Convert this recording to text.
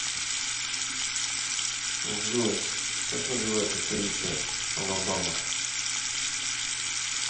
джой как называется столица алабама